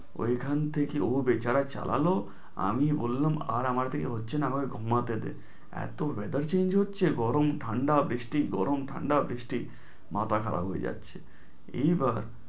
ওই খান থেকে ও বেচারা চালালো। আমি বললাম আর আমার দিয়ে হচ্ছে, না আমাকে ঘুমাতে দে। এত weather change হচ্ছে, গরম ঠাণ্ডা, বৃষ্টি, গরম, ঠাণ্ডা, বৃষ্টি মাথা খারাপ হয়ে যাচ্ছে। এইবার